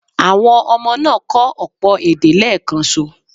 Àwọn ọmọ náà kọ́ ọ̀pọ̀ èdè léèkanṣo.